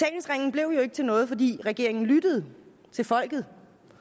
blev jo ikke til noget fordi regeringen lyttede til folket